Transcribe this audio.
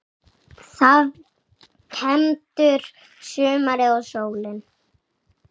Þá kemur sumarið og sólin.